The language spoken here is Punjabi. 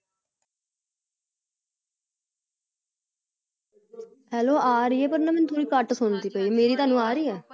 hello ਆ ਰਹਿ ਹੈ ਪਰ ਮੈਨੂੰ ਤੁਸੀ ਘਾਟ ਸੁਨ ਦਿ ਪਈ । ਮੇਰੀ ਤੁਹਾਨੂੰ ਆ ਰਹੀ ਹੈ ।